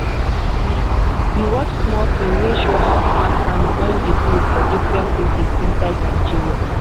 we we watch small film wey show how smart farming don dey blow for different places inside nigeria.